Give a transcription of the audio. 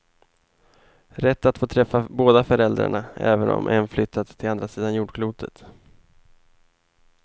Rätt att få träffa båda föräldrarna även om en flyttat till andra sidan jordklotet.